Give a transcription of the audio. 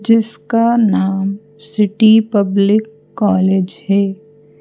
जिसका नाम city public college है।